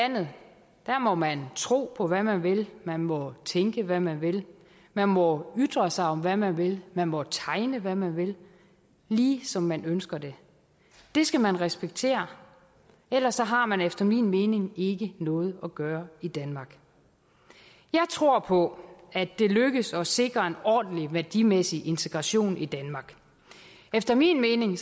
her må man tro på hvad man vil man må tænke hvad man vil man må ytre sig om hvad man vil man må tegne hvad man vil lige som man ønsker det det skal man respektere ellers har man efter min mening ikke noget at gøre i danmark jeg tror på at det lykkes at sikre en ordentlig værdimæssig integration i danmark efter min mening